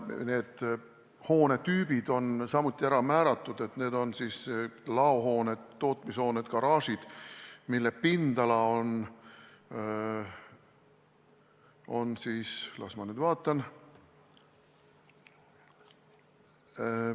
Need hoonetüübid on ära määratud, need on laohooned, tootmishooned ja garaažid, mille pindala on ... las ma vaatan ...